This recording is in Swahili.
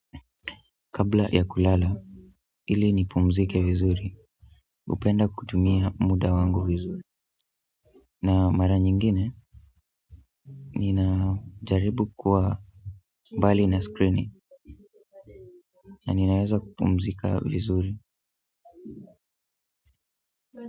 Kabla ya kulala ili nipumzike vizuri hupenda kutumia muda wangu vizuri na mara nyingine nina jaribu kuwa mbali na screen na ninaweza kupumzika vizuri.